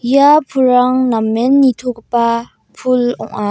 ia pulrang namen nitogipa pul ong·a.